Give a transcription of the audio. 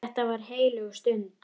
Þetta var heilög stund.